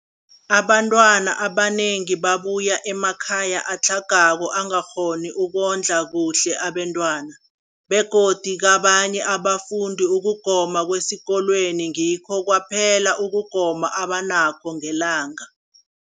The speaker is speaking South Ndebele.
Abantwana abanengi babuya emakhaya atlhagako angakghoni ukondla kuhle abentwana, begodu kabanye abafundi, ukugoma kwesikolweni ngikho kwaphela ukugoma abanakho ngelanga.